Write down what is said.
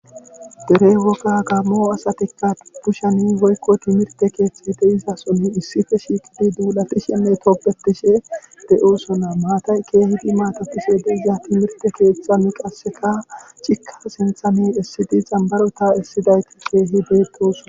dere woga gammo asatikka pushani woykko timirte keeththate izasoni issife shiiqidi duulatishenne topbetishe de7osona maatay keehidi maatatishe de iza timirte keeththa mi qaseka chikka sentha mi essidi zambaro ta essidayti keehi deettosona